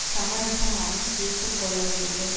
சமரசமாகவும் தீர்த்து கொள்ள வேண்டும்